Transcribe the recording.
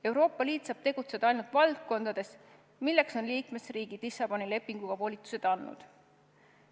Euroopa Liit saab tegutseda ainult valdkondades, milleks on liikmesriigid Lissaboni lepinguga volitused andnud.